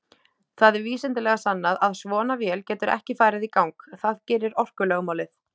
Það er vísindalega sannað að svona vél getur ekki farið í gang, það gerir orkulögmálið.